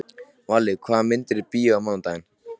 Valli, hvaða myndir eru í bíó á mánudaginn?